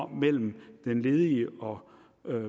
mellem den ledige og